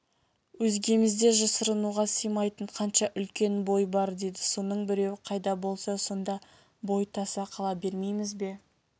өзгемізде жасырынуға сыймайтын қанша үлкен бой бар деді соның біреуі қайда болса сонда бой таса қыла бермейміз бе